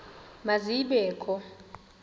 ma zibe kho